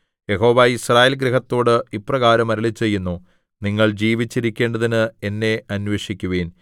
യഹോവ യിസ്രായേൽ ഗൃഹത്തോട് ഇപ്രകാരം അരുളിച്ചെയ്യുന്നു നിങ്ങൾ ജീവിച്ചിരിക്കേണ്ടതിന് എന്നെ അന്വേഷിക്കുവിൻ